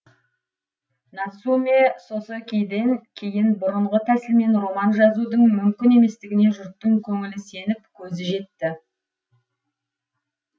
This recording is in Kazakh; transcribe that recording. нацумэ сосэкиден кейін бұрынғы тәсілмен роман жазудың мүмкін еместігіне жұрттың көңілі сеніп көзі жетті